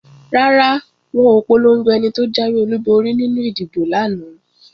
Rárá, wọn ò polongo ẹni tó jáwé olúborí nínú ìdìbò lánàá